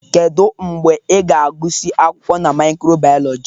Kedu mgbe ị ga-agụsị akwụkwọ na micro-biology?